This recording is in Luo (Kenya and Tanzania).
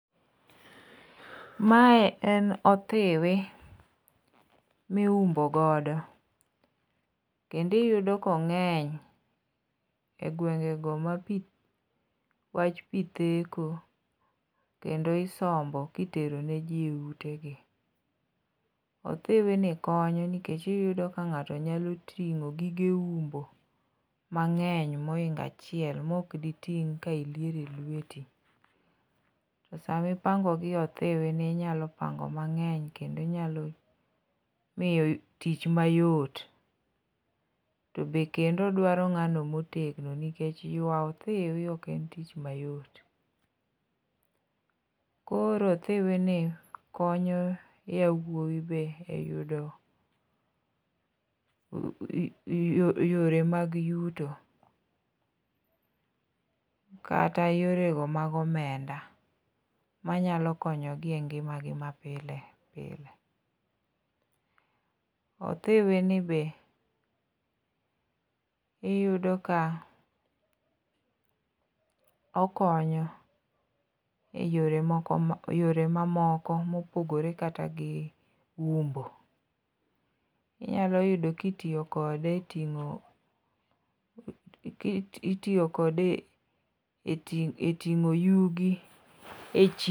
Mae en othiwi miumbogodo kendi iyudo kong'eny e gwengego ma wach pi theko kendo isombo kiteroneji e utegi. Othiwini konyo nikech iyudo ka ng'ato nyalo ting'o gige umbo mang'eny moingo achiel mokditing' ka iliero e lweti. To samipangogi e i othiwini inyalo pango mang'eny kendo inyalo miyo tich mayot to be kendo dwaro ng'ano motegno nikech ywa othiwi ok en tich mayot. Koro othiwini konyo yawuowi be yudo yore mag yuto kata yorego mag omenda manyalo konyogi e ngimagi ma pile pile. Othiwini be iyudo ka okonyo e yore mamoko mopogore kata gi umbo. Inyalo yudo kitiyo kode e ting'o yugi e chiro.